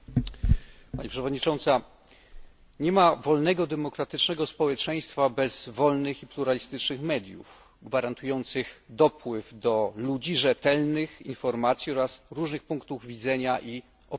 Pani przewodnicząca! Nie ma wolnego i demokratycznego społeczeństwa bez wolnych i pluralistycznych mediów gwarantujących przekazywanie ludziom rzetelnych informacji oraz różnych punktów widzenia i opinii.